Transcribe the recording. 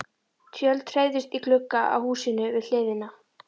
Tjöld hreyfðust í glugga á húsinu við hliðina.